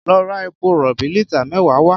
Lọ ra epo rọ̀bì lítà mẹ́wàá wá!